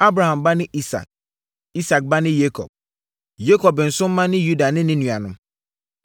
Abraham ba ne Isak, Isak ba ne Yakob; Yakob nso mma ne Yuda ne ne nuanom.